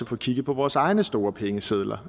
få kigget på vores egne store pengesedler